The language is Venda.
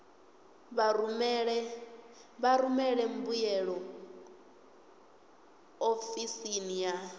vha rumele mbuyelo ofisini ya